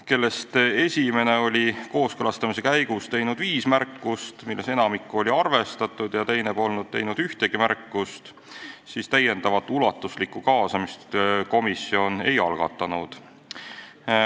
Neist esimene oli kooskõlastamise käigus teinud viis märkust, millest enamik sai arvestatud, ja teine polnud teinud ühtegi märkust, seetõttu komisjon enam ulatuslikku kaasamist ei algatanud.